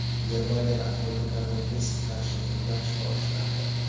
Germaniyada aholini koronavirusga qarshi emlash boshlandi.